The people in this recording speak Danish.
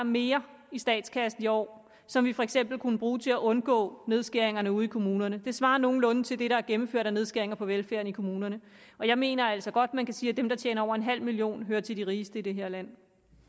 mere i statskassen i år som vi for eksempel kunne bruge til at undgå nedskæringerne ude i kommunerne med det svarer nogenlunde til det der er gennemført af nedskæringer på velfærden i kommunerne jeg mener altså godt at man kan sige at dem der tjener over en halv million hører til de rigeste i det her land